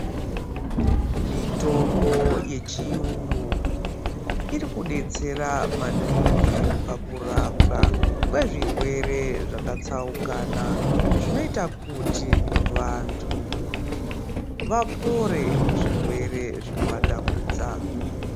Mitombo yechiyungu irikudetsera maningi pakurapwa kwezvirwere zvakatsaukana zvinoite kuti vantu vapore kuzvirwere zvinovatambudza.